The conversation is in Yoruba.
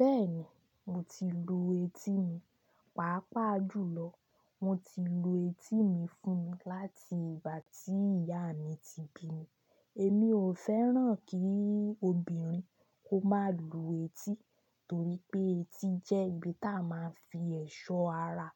Bẹ́ẹ̀ni, mo ti lu etí mi, pàápàá jùlọ mo ti lu etí mi fún mi láti ìgbà tí ìyá mi ti bí mi. Èmi ò fẹ́ràn kí obìnrin kó má lu etí torí pé etí jẹ́ ibi táa máa ń fi ẹ̀ṣọ́ ara